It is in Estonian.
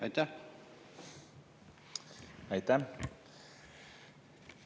Aitäh!